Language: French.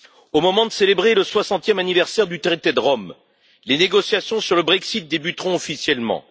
Au moment de célébrer le 60e anniversaire du traité de Rome, les négociations sur le Brexit débuteront officiellement.